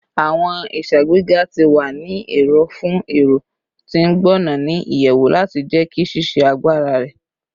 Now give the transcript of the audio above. Awọn iṣagbega ti wa ni ero fun ẹrọ ti ngbona ni iyẹwu lati jẹki ṣiṣe agbara rẹ